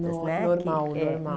Né que é Normal, normal.